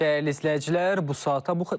Dəyərli izləyicilər, bu saata bu qədər.